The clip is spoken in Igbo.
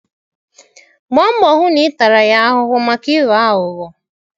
Gbaa mbọ hụ na ị tara ya ahụhụ maka ịghọ aghụghọ.